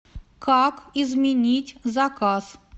как изменить заказ